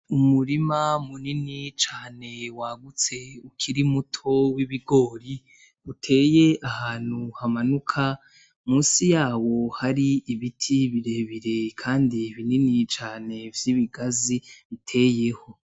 Umurima munini cane wagutse, ukiri muto, w’ibigori, uteye ahantu hamanuka. Munsi yawo hari ibiti birebire kandi binini cane vy’ibigazi biteyeho.